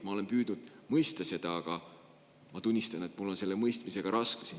Ma olen püüdnud seda mõista, aga ma tunnistan, et mul on selle mõistmisega raskusi.